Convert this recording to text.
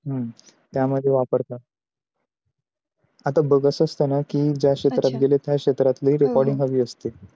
हम्म त्या मध्ये वापरतात. आता बघत असताना की ज्या क्षेत्रात गेले त्या क्षेत्रातली recording हवी असते